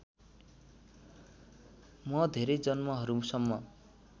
म धेरै जन्महरूसम्म